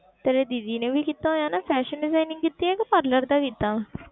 ਤੇਰੀ ਦੀਦੀ ਨੇ ਵੀ ਕੀਤਾ ਹੋਇਆ ਨਾ fashion designing ਕੀਤੀ ਹੈ ਕਿ parlour ਦਾ ਕੀਤਾ